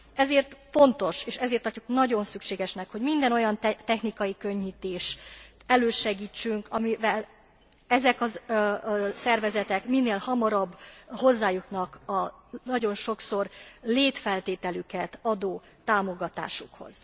Ezért fontos, és ezért tartjuk nagyon szükségesnek, hogy minden olyan technikai könnyítést elősegítsünk, amivel ezek a szervezetek minél hamarabb hozzájutnak a nagyon sokszor létfeltételüket adó támogatásukhoz.